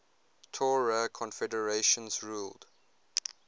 tuareg confederations ruled